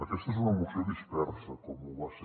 aquesta és una moció dispersa com ho va ser